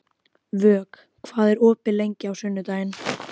Vök, hvað er opið lengi á sunnudaginn?